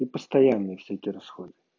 и постоянные все эти расходы